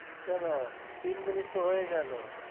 কেনো তিন minute তো হয়ে গেল